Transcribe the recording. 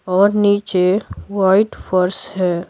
और नीचे वाइट फर्श है।